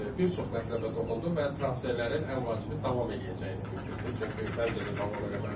Bir çox mətləbə toxundu və transferlərin ən vacibi davam edəcəyini bildirdi, çünki məncə də davam eləməlidir.